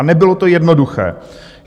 A nebylo to jednoduché.